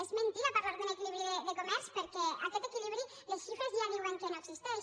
és mentida parlar d’un equilibri de comerç perquè aquest equilibri les xifres ja diuen que no existeix